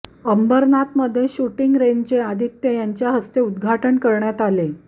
अंबरनाथमध्ये शूटिंग रेंजचे आदित्य यांच्या हस्ते उद्घाटन करण्यात आले